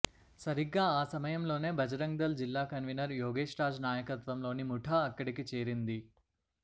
సరిగ్గా ఆ సమయం లోనే బజరంగ్దళ్ జిల్లా కన్వీనర్ యోగేష్ రాజ్ నాయకత్వంలోని ముఠా అక్కడకు చేరింది